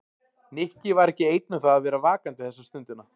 Nikki var ekki einn um það að vera vakandi þessa stundina.